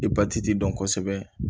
I dɔn kosɛbɛ